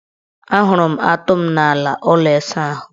Ahụrụ m atụ m n' ala ụlọ isaahụ.